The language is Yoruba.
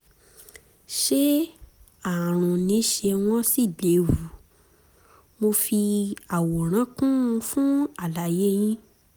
ṣé ààrùn ni ṣé wọ́n sì léwu? mo fi àwòrán kún un fún àlàyé yín